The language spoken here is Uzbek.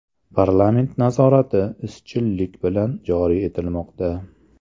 Parlament nazorati izchillik bilan joriy etilmoqda.